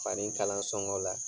Fanin kalan sɔngɔ la